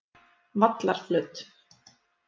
Vallarflöt